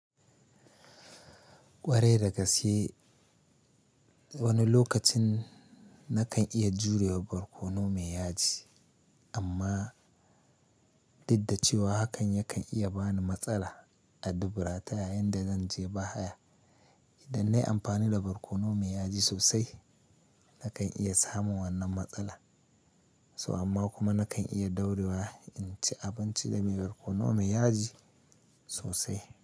Ƙwarai da gaske wani lokacin na kan iya jurewa barkono mai yaji, amma didda cewa hakan ya kan iya bani matsala a dubura ta yayinda zanje bahaya. Idan nayi amfani da barkono mai yaji sosai, na kan iya samun wannan matsala. So amma kuma na kan iya daurewa inci abinci da mai barkono mai yaji sosai.